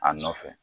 A nɔfɛ